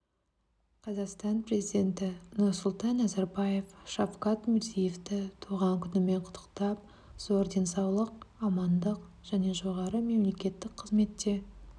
қазақстан президенті нұрсұлтан назарбаев шавкат мирзиевті туған күнімен құттықтап зор денсаулық амандық және жоғары мемлекеттік қызметте